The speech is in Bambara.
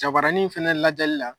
jabaranin in fana lajɛli la.